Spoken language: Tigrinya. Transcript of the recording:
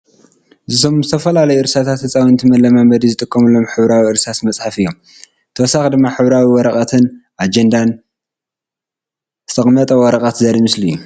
እዞም ዝተፈላለዮ እርሳስ ህፃውንቲ መለማመዲ ዝጥቀምሉ ሕብራዊ እርሳስ መፅሐፍ እዮም ። ብተወሳኪ ድማ ሕብራዊ ወረቀትን አጀንዳን ዝተቀመጠ ወረቀት ዘርኢ ምስሊ እዩ ።